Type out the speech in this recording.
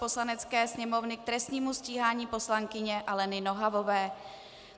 Poslanecké sněmovny k trestnímu stíhání poslankyně Aleny Nohavové